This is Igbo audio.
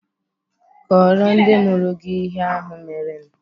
Kọọrọ ndị mụrụ gị ihe ahụ merenụ.